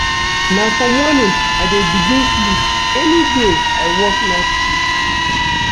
Na for morning I dey begin sleep any day I work night shift.